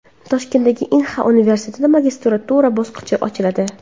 Toshkentdagi Inha universitetida magistratura bosqichi ochiladi.